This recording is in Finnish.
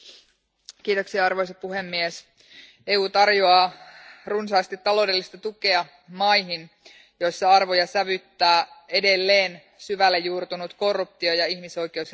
Arvoisa puhemies, EU tarjoaa runsaasti taloudellista tukea maihin, joissa arvoja sävyttää edelleen syvälle juurtunut korruptio ja ihmisoikeusrikkomukset.